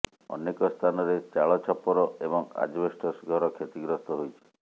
ଅନେକ ସ୍ଥାନରେ ଚାଳ ଛପର ଏବଂ ଆଜବେଷ୍ଟସ ଘର କ୍ଷତିଗ୍ରସ୍ତ ହୋଇଛି